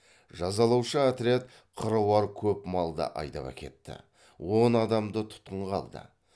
жазалаушы отряд қыруар көп малды айдап әкетті он адамды тұтқынға алды